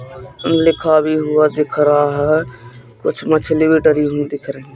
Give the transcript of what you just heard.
लिखा भी हुआ दिख रहा है कुछ मछली भी डरी हुई दिख रही--